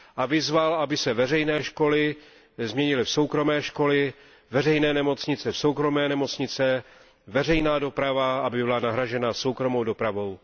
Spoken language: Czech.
A vyzval, aby se veřejné školy změnily v soukromé školy, veřejné nemocnice v soukromé nemocnice, veřejná doprava aby byla nahrazena soukromou dopravou.